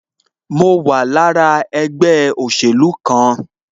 Mo wà lára ẹgbẹ́ òsèlú kan